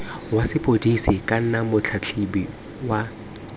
wa sepodisi kana motlhatlhobi wa